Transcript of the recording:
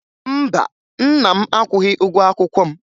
Mba, nna m akwụghị ụgwọ akwụkwọ m